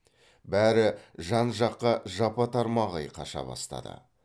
бәрі жан жаққа жапа тармағай қаша бастады